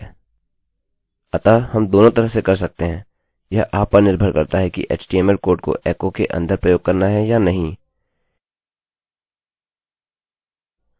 अतः हम इसे दोनों तरह से कर सकते हैं यह आप पर निर्भर करता है कि htmlएचटीएमएल कोड को एकोecho के अन्दर प्रयोग करना है या नहीं किन्तु वहाँ इसके और अनेक लाभ हैं